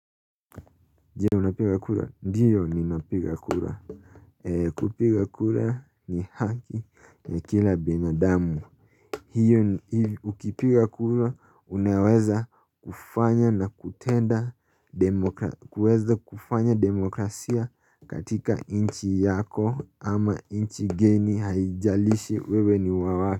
Ndiyo ninapiga kura kupiga kura ni haki ya kila binadamu hiyo ukipiga kura unaweza kufanya na kutenda kuweza kufanya demokrasia katika nchi yako ama nchi geni haijalishi wewe ni wa wapi.